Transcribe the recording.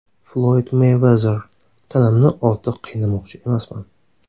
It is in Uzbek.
Floyd Meyvezer: Tanamni ortiq qiynamoqchi emasman.